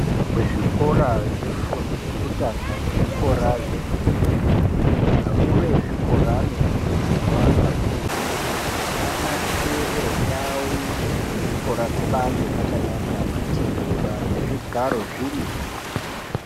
Kuzvikora zvefundo yekutanga nezvikora zvefundo yechipiri akuru ezvikora anokurudzirwa kakurutu anasire ndau dzezvikora dzibaange dzAkanaka matebura nezvigaro zvibaange zvirimwo.